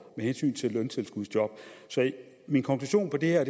med hensyn til løntilskudsjob så min konklusion på det her